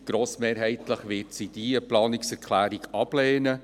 Grossmehrheitlich wird sie diese Planungserklärung ablehnen.